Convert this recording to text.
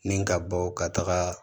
Ni ka bɔ ka taga